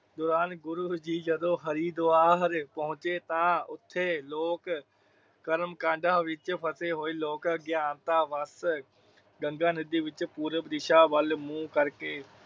ਦੌਰਾਨ ਗੁਰੂ ਜੀ ਜਦੋ ਹਰਿਦਵਾਰ ਪਹੁੰਚੇ ਤਾ ਉਥੇ ਲੋਕ ਕਰਮ ਕਾਂਡਾਂ ਵਿੱਚ ਫਸੇ ਹੋਈ ਲੋਕ ਆਗਿਆਨਤਾ ਬਸ ਗੰਗਾ ਨਦੀ ਵਿੱਚ ਪੂਰਵ ਦਿਸ਼ਾ ਵਾਲ ਮੁਹੇ ਕਰ ਕੇ।